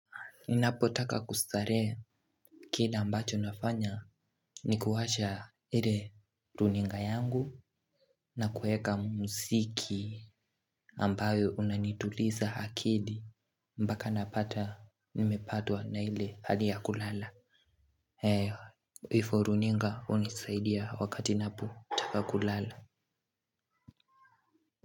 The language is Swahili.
Ninapotaka kustarehe, kila ambacho nafanya ni kuwasha ile runinga yangu, na kuweka mziki. Ambayo unanituliza akili mpaka napata nimepatwa na ile hali ya kulala. Hivo runinga hunisaidia wakati ninapotaka kulala.